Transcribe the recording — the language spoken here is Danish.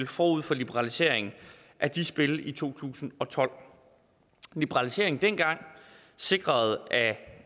forud for liberaliseringen af de spil i to tusind og tolv liberaliseringen dengang sikrede at